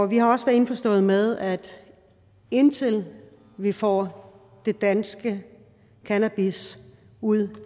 vi er også indforstået med at indtil vi får det danske cannabis ud